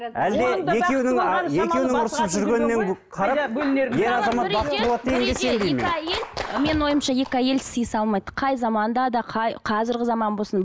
әлде екеуінің екеуінің менің ойымша екі әйел сыйыса алмайды қай заманда да қай қазіргі заман болсын